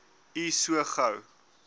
u so gou